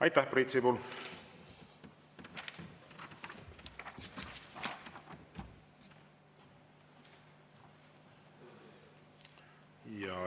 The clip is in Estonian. Aitäh, Priit Sibul!